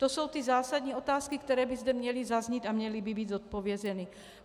To jsou ty zásadní otázky, které by zde měly zaznít a měly by být zodpovězeny.